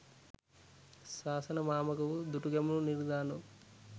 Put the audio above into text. සාසනමාමක වූ දුටුගැමුණු නිරිඳානෝ